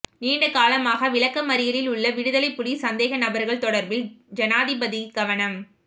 நீண்ட காலமாக விளக்கமறியலில் உள்ள விடுதலைப் புலி சந்தேகநபர்கள் தொடர்பில் ஜனாதிபதி கவனம்